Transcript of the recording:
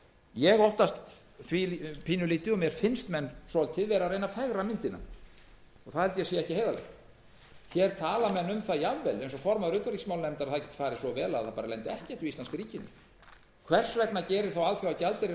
ég óttast að menn séu að reyna að fegra myndina og það held ég að sé ekki heiðarlegt menn tala hér um það jafnvel eins og formaður utanríkismálanefndar að vel geti farið svo að